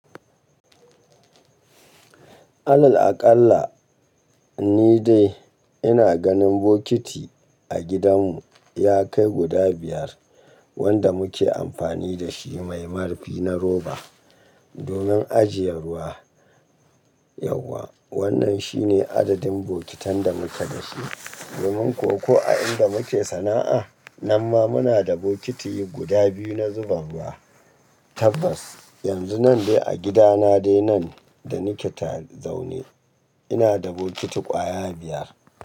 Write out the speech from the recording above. Alal aƙalla ni dai ina ganin bokiti a gidanmu ya kai guda biyar wanda muke amfani da shi mai marfi na roba domin ajiye ruwa. Yauwa wannan shine adadin bokitan da muke da shi domin kuwa ko a inda muke sana'a. Nan ma muna da bokiti guda biyu na zuba ruwa tabbas. Yanzu nan dai a gidana dai nan da nake ta zaune ina da bokiti ƙwaya biyar.